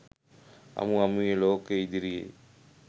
අමු අමුවේ ලෝකය ඉදිරියේ